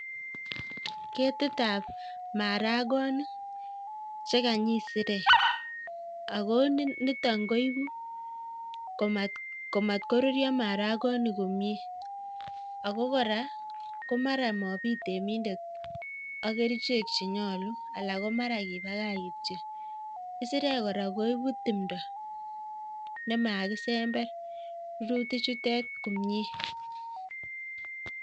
Keti ap maragoni chekanyi kisirek ako niton koibu komatkoruryom maragoni komyie ako kora komara mabit temindet ak kerichek chenyolu ala ko mara kipakach kityo. kisirek kora koibu tumdo nemakisember minutik chutok komyie